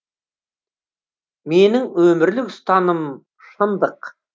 менің өмірлік ұстанымым шындық